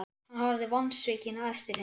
Hann horfði vonsvikinn á eftir henni.